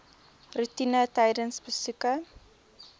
roetine tydens besoeke